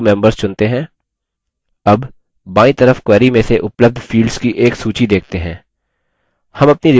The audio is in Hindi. अब बायीं तरफ query में से उपलब्ध fields की एक सूची देखते हैं